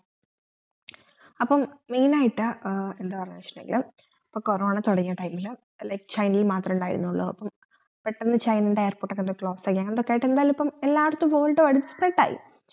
അപ്പം main യിട്ട് ഏർ എന്താ പറഞ്ഞവെച്ചെങ്കില് ഇപ്പോ corona തൊടങ്ങിയ time ഇല് ചൈനയിൽ മാതൃണ്ടായിരുന്നുള്ളു അപ്പൊ പെട്ടന്ന് ചൈനൻറെ airport ഒക്കെ off ആയി അങ്ങനെന്തൊക്കെ ഇപ്പം എല്ലാതും അടുത്ത time